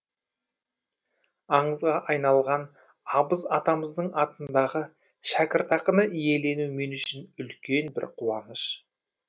аңызға айналған абыз атамыздың атындағы шәкіртақыны иелену мен үшін үлкен бір қуаныш